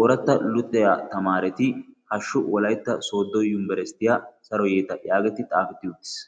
ooratta lutiya tamaareti hashshu wolaitta sooddo yumibarasitiyaa saro yeeta' yaageetti xaafetti uttiis.